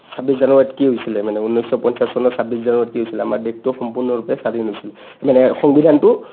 ছাব্বিছ জানুৱাৰীত কি হৈছিলে মানে ঊন্নৈছ পঞ্চাছ চনৰ ছাব্বিছ জানুৱাৰীত কি হৈছিলে ? আমাৰ দেশটো সম্পূৰ্ণৰূপে স্বাধীন হৈছিলে মানে সংবিধানটো